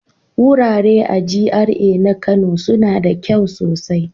Wurare a GRA na Kano suna da kyau sosai.